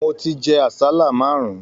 Mò tí jẹ àsálà márùn.